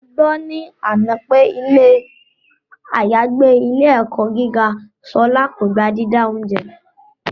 Mo gbọ́ ní àná pé ilé àyágbé ilé - ẹ̀kọ́ gíga Ṣọlá kò gba dídá oúnjẹ